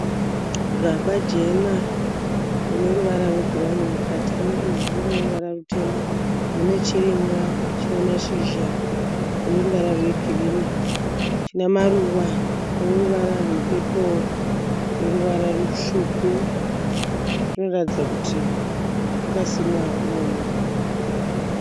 Gaba jena rine ruvara rwebhurawuni mukati rine ivhu rine ruvara rutema. Mune chirimwa chine mashizha ane ruvara rwegirinhi chine maruva ane ruvara rwepepuro neruvara rutsvuku. Chinoratidza kuti chakasimwa imomo.